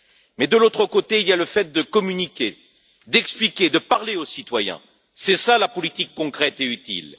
Mais de l'autre côté, il y a le fait de communiquer, d'expliquer, de parler aux citoyens, qui relève de la politique concrète et utile.